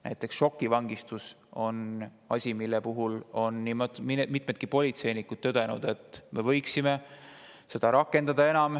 Näiteks šokivangistus on asi, mille puhul on nii mitmedki politseinikud tõdenud, et me võiksime seda enam rakendada.